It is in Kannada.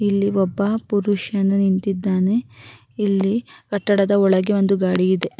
ಇಲ್ಲಿ ಒಬ್ಬ ಪುರುಷನು ನಿಂತಿದ್ದಾನೆ ಇಲ್ಲಿ ಕಟ್ಟಡದ ಒಳಗೆ ಒಂದು ಗಾಡಿ ಇದೆ-